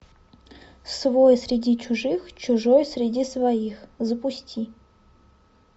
свой среди чужих чужой среди своих запусти